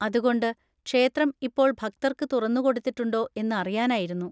അതുകൊണ്ട്, ക്ഷേത്രം ഇപ്പോൾ ഭക്തർക്ക് തുറന്നുകൊടുത്തിട്ടുണ്ടോ എന്ന് അറിയാനായിരുന്നു.